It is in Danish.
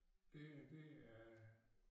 Det her det er